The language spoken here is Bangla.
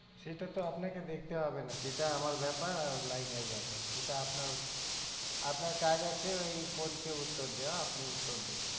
সেটা তো আপনাকে দেখতে হবে না সেটা আমার ব্যাপার আর line এর ব্যাপার সেটা আপনার, আপনার কাজ আছে ওই phone কে উত্তর দেওয়া আপনি উত্তর দিন